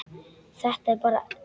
Þetta er bara della.